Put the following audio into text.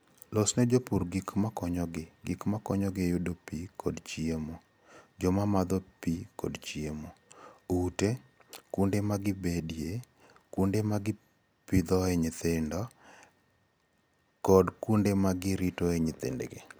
Losne jopur gik ma konyogi; gik ma konyogi yudo pi kod chiemo (joma modho pi kod chiemo), ute, kuonde ma gibedoe, kuonde ma gipidhoe nyithindgi, kod kuonde ma giritoe nyithindgi